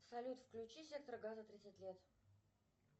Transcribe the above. салют включи сектор газа тридцать лет